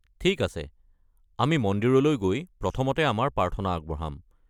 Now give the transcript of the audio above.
ঠিক আছে, আমি মন্দিৰলৈ গৈ প্ৰথমতে আমাৰ প্ৰাৰ্থনা আগবঢ়াম।